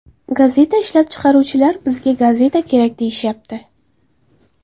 Gazeta ishlab chiqaruvchilar ‘bizga gazeta kerak’, deyishyapti.